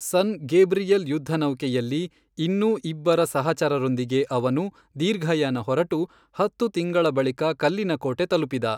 ಸನ್ Gabriel ಯುದ್ಧ ನೌಕೆಯಲ್ಲಿ ಇನ್ನೂ ಇಬ್ಬರ ಸಹಚರರೊಂದಿಗೆ ಅವನು ದೀರ್ಘಯಾನ ಹೊರಟು ಹತ್ತು ತಿಂಗಳ ಬಳಿಕ ಕಲ್ಲಿನಕೋಟೆ ತಲಪಿದ.